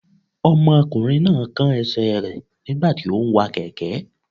Ọmọkùnrin náà kán ẹsẹ̀ rẹ̀ nígbà tí óún wa kẹ̀kẹ́